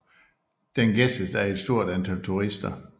Den gæstes af et stort antal turister